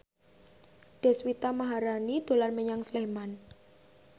Deswita Maharani dolan menyang Sleman